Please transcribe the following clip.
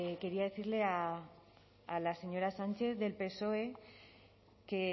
quería decirle a la señora sánchez del psoe que